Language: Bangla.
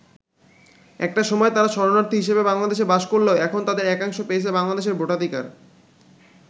একটা সময় তারা শরণার্থী হিসেবে বাংলাদেশে বাস করলেও এখন তাদের একাংশ পেয়েছে বাংলাদেশের ভোটাধিকার।